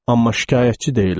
Amma şikayətçi deyiləm.